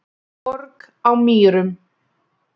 Borg á Mýrum